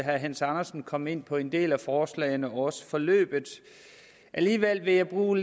herre hans andersen kom ind på en del af forslagene og også nævnte forløbet alligevel vil jeg bruge